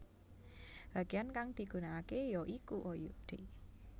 Bageyan kang digunakake ya iku oyode